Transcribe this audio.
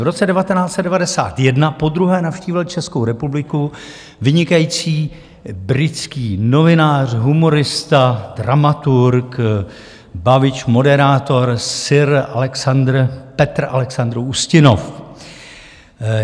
V roce 1991 podruhé navštívil Českou republiku vynikající britský novinář, humorista, dramaturg, bavič, moderátor sir Peter Alexander Ustinov.